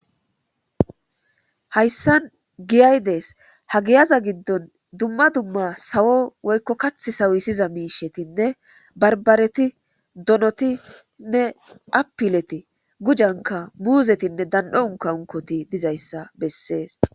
hayssan giyay dees ha giyaza giddon dumma dumma sawo woykko kath sawusiza miishetinne barbareti donotinne apileti gujanka muuzetinne dan7o unka unkoti dizayssa bessees.